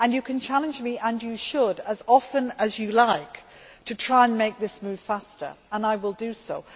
You can challenge me and you should as often as you like to try and make this move faster, and I will do so.